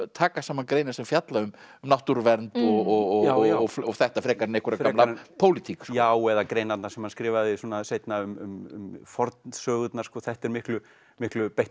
taka saman greinar sem fjalla um náttúruvernd og þetta frekar en einhverja gamla pólitík já eða greinarnar sem hann skrifaði seinna um fornsögurnar þetta er miklu miklu